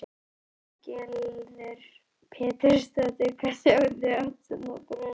Lillý Valgerður Pétursdóttir: Hvað sjáið þið oft svona bruna?